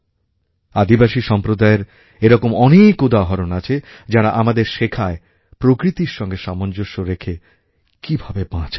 আদিবাসী সম্প্রদায়ের এরকম অনেক উদাহরণ আছে যাঁরা আমাদের শেখায় প্রকৃতির সঙ্গে সামঞ্জস্য রেখে কীভাবে বাঁচা যায়